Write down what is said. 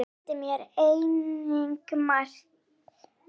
Hún kenndi mér einnig margt.